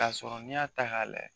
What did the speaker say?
Ka sɔrɔ nin y'a ta k'a lajɛ